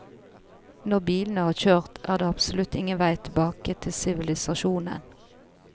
Når bilene har kjørt, er det absolutt ingen vei tilbake til sivilisasjonen.